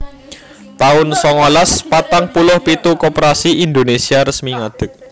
taun songolas patang puluh pitu Koperasi Indonesia resmi ngadeg